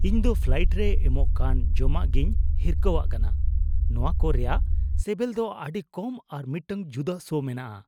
ᱤᱧ ᱫᱚ ᱯᱷᱞᱟᱭᱮᱱᱴ ᱨᱮ ᱮᱢᱚᱜ ᱠᱟᱱ ᱡᱚᱢᱟᱜᱤᱧ ᱦᱤᱨᱠᱷᱟᱹᱣᱟᱜ ᱠᱟᱱᱟ ᱾ ᱱᱚᱶᱟ ᱠᱚ ᱨᱮᱭᱟᱜ ᱥᱮᱵᱮᱞ ᱫᱚ ᱟᱹᱰᱤ ᱠᱚᱢ ᱟᱨ ᱢᱤᱫᱴᱟᱝ ᱡᱩᱫᱟᱹ ᱥᱚ ᱢᱮᱱᱟᱜᱼᱟ ᱾